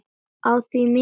Á því er mikill munur.